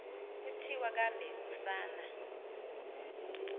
kuthiwa kambe usana